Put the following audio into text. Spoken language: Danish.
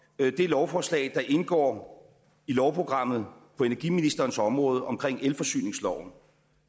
det lovforslag der indgår i lovprogrammet på energiministerens område omkring elforsyningsloven